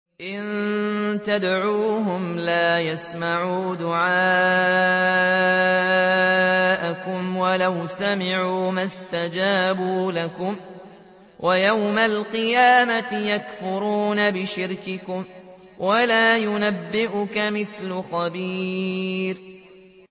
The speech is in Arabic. إِن تَدْعُوهُمْ لَا يَسْمَعُوا دُعَاءَكُمْ وَلَوْ سَمِعُوا مَا اسْتَجَابُوا لَكُمْ ۖ وَيَوْمَ الْقِيَامَةِ يَكْفُرُونَ بِشِرْكِكُمْ ۚ وَلَا يُنَبِّئُكَ مِثْلُ خَبِيرٍ